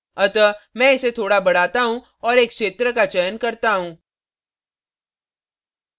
अतः मैं इसे थोड़ा बढ़ाता हूँ और एक क्षेत्र का चयन करता हूँ